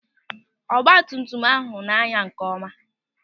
Ọgbatumtum ahụ na-anya nkeọma.